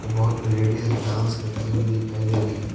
बहुत ladies dance करते हुए दिखाई दे रही है।